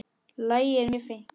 Lagið er mjög fínt.